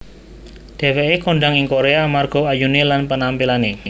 Dheweké kondhang ing Korea amarga ayuné lan panampilané